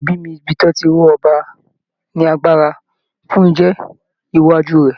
Ìpèbí ní ibi tí wọ́n tí ń ró ọba ní agbára fún iṣẹ́ iwájú rẹ̀.